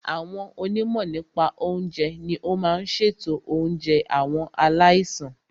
Àwọn onímọ̀ nípa oúnjẹ ní o máà n ṣètò oúnjẹ àwọn aláìsàn.